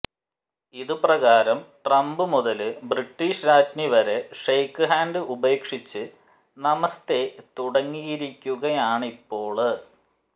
ഇത് പ്രകാരം ട്രംപ് മുതല് ബ്രിട്ടീഷ് രാജ്ഞി വരെ ഷെയ്ക്ക്ഹാന്ഡ് ഉപേക്ഷിച്ച് നമസ്തേ തുടങ്ങിയിരിക്കുകയാണിപ്പോള്